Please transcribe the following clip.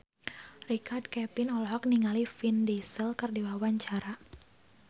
Richard Kevin olohok ningali Vin Diesel keur diwawancara